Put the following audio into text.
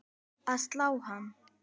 að slá hann.